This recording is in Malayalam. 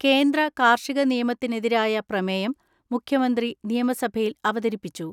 കേന്ദ്ര കാർഷിക നിയമത്തിനെതിരായ പ്രമേയം മുഖ്യമന്ത്രി നിയമസഭയിൽ അവതരിപ്പിച്ചു.